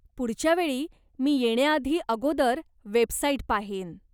पुढच्या वेळी मी येण्याआधी अगोदर वेबसाईट पाहीन.